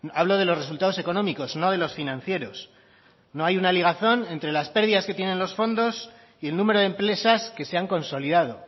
hablo de los resultados económicos no de los financieros no hay una ligazón entre las pérdidas que tienen los fondos y el número de empresas que se han consolidado